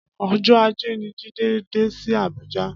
Ọjọ àjé ni Jide dé si Abuja